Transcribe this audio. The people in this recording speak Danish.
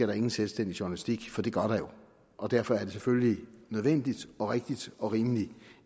der ingen selvstændig journalistik for det gør der jo og derfor er det selvfølgelig nødvendigt og rigtigt og rimeligt